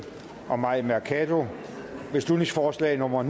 og mai mercado beslutningsforslag nummer